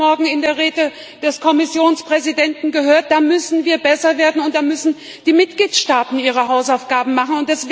Wir haben es heute Morgen in der Rede des Kommissionspräsidenten gehört Da müssen wir besser werden, und da müssen die Mitgliedstaaten ihre Hausaufgaben machen.